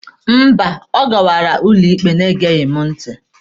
Mba, ọ gawara ụlọ ikpe na-egeghị m ntị.